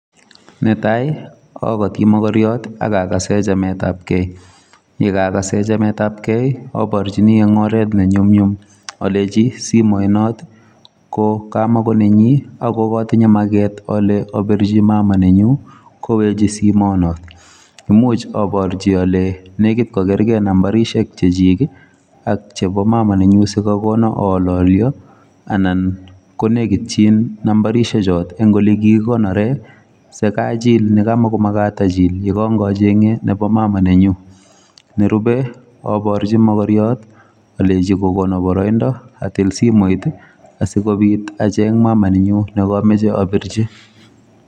Netai akoti mokoryot akakase chametapkei. yekaakase chametapkei aporchini eng oret nenyumnyum alechi simoinot ko kamakonenyi ako katinye maket ale apirchi mama nenyu kowechi simonot. Imuch aporchi ale nekit kokergei nambarishek chechik ak chepo [sc]mama[sc] nenyu sikakono aalolyo anan konekitchin nambarishechot eng olekikikonore si kachil ne kamakomakat achil yekangacheng'e nepo mama[c] nenyu. Nerube aporchi mokoriot alechi kokono boroindo atil simoit asikobit acheng mama nenyu nekameche apirchi.